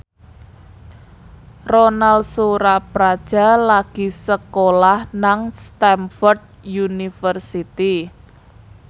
Ronal Surapradja lagi sekolah nang Stamford University